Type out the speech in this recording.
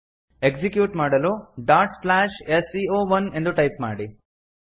execute ಮಾಡಲು dot slash S C O one ಎಂದು type ಮಾಡಿ